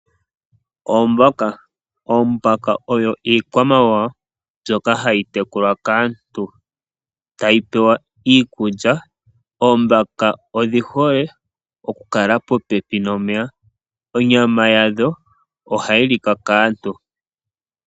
Oombaka, Oombaka oyo iikwamawawa mbyoka hayi tekulwa kaantu tayi pewa iikulya oombaka odhihole okukala popepi nomeya, onyama yadho oha yi lika kaantu.